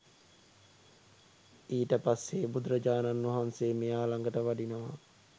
ඊට පස්සේ බුදුරජාණන් වහන්සේ මෙයා ලඟට වඩිනවා